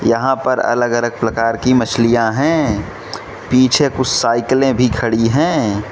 यहां पर अलग अलग प्रकार की मछलियां हैं पीछे कुछ साइकिलें भी खड़ी है।